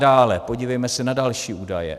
Dále podívejme se na další údaje.